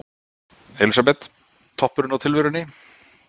Elísabet: Toppurinn á tilverunni?